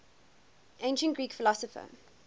ancient greek philosopher